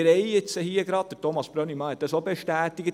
Thomas Brönnimann hat es bestätigt.